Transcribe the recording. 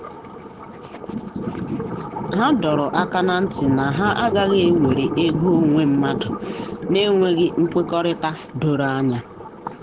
ha dọrọ aka na ntị na ha ha agaghị ewere ego onwe mmadụ na enweghị nkwekọrịta doro anya.